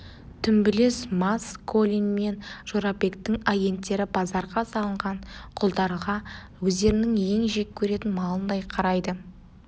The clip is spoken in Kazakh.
дүмбілез мас колин мен жорабектің агенттері базарға салынған құлдарға өздерінің ең жек көретін малындай қарайды